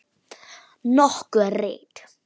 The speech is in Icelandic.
Nokkur rit